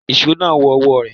Ìṣó náà wọ ọwọ́ rẹ̀.